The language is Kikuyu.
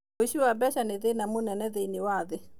ũici wa mbeca nĩ thĩĩna mũnene thĩinĩ wa thĩ.